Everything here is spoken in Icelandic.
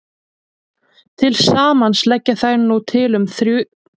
Til samans leggja þær nú til um tvo þriðju af þeirri frumorku sem þjóðin notar.